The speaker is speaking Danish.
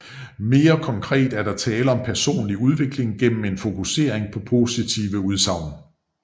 Mere konkret er der tale om personlig udvikling gennem en fokusering på positive udsagn